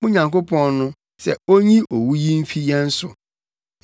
mo Nyankopɔn no, sɛ onyi owu yi mfi yɛn so.”